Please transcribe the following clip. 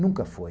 Nunca foi.